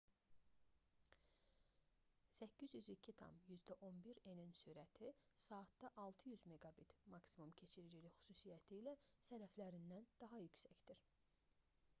802,11n-nin sürəti 600 mbit/s maksimum keçiricilik xüsusiyyəti ilə sələflərindən daha yüksəkdir